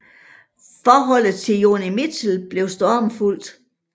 Forholdet til Joni Mitchell blev stormfuldt